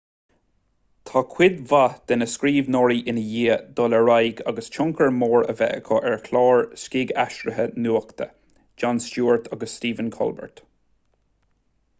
tá cuid mhaith de na scríbhneoirí i ndiaidh dul ar aghaidh agus tionchar mór a bheith acu ar chláir scigaithrise nuachta jon stewart agus stephen colbert